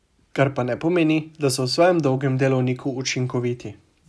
Kar pa ne pomeni, da so v svojem dolgem delovniku učinkoviti.